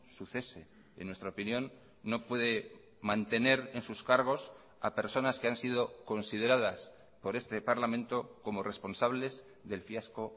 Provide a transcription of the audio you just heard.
su cese en nuestra opinión no puede mantener en sus cargos a personas que han sido consideradas por este parlamento como responsables del fiasco